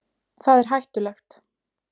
Það er hættulegt.